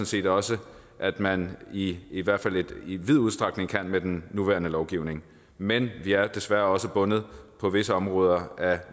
set også at man i i hvert fald i vid udstrækning kan med den nuværende lovgivning men vi er desværre også bundet på visse områder af